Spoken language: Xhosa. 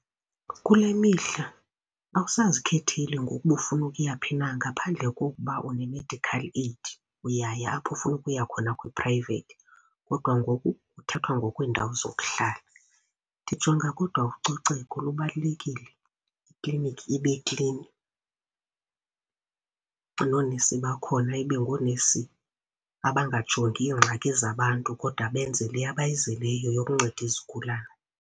Kule mihla awusazikhetheli ngoku uba ufuna ukuya phi na ngaphandle kokuba une-medical aid, uyaya apho ufuna ukuya khona kwi-private kodwa ngoku kuthathwa ngokweendawo zokuhlala. Ndijonga kodwa ucoceko lubalulekile, iklinikhi ibe klini, noonesi bakhona ibe ngoonesi abangajongi iingxaki zabantu kodwa benze le abayizeleyo yokunceda izigulane.